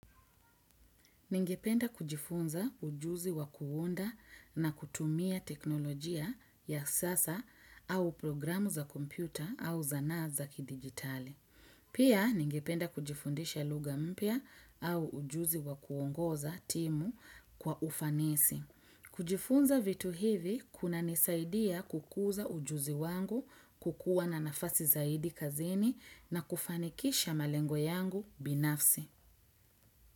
Ningependa kujifunza ujuzi wakuunda na kutumia teknolojia ya sasa au programu za kompyuta au zana za kidigitali. Pia ningependa kujifundisha lugha mpya au ujuzi wakuongoza timu kwa ufanisi. Kujifunza vitu hivi kuna nisaidia kukuza ujuzi wangu kukuwa na nafasi zaidi kazini na kufanikisha malengo yangu binafsi.